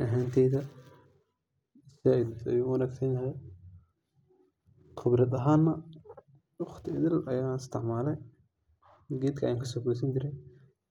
Aniga ahanteyda zaid ayu u wanagsanyahy ,khibrad ahana waqti idhil ban isticmale. Gedka ayan kaso gosani jire